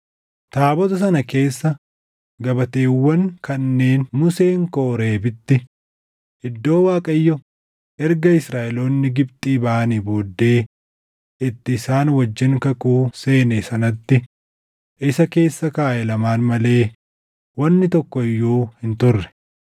Taabota sana keessa gabateewwan kanneen Museen Kooreebitti, iddoo Waaqayyo erga Israaʼeloonni Gibxii baʼanii booddee itti isaan wajjin kakuu seene sanatti isa keessa kaaʼe lamaan malee wanni tokko iyyuu hin turre.